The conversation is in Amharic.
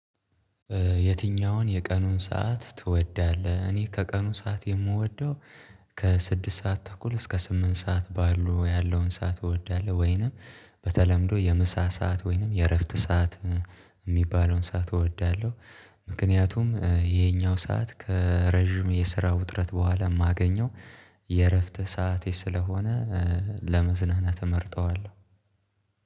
የትኛውን የቀኑን ሰዓት ትወዳለህ? እኔ ከቀኑን ሰዓት የምወደው ከስድስት ሰዓት ተኩል እስከ ስምንት ሰዓት ባሉ ያለውን ሰዓት እወዳለሁ። ወይንም በተለምዶ የምሳ ሰዓት ወይንም የእረፍት ሰዓት የሚባለውን ሰዓት እወዳለሁ። ምክንያቱም ይሄኛው ሰዓት ከረጅም የስራ ውጥረት በኋላ የማገኘው የእረፍት ሰዓት ስለሆነ። ለመዝናናት እመርጠዋለሁ።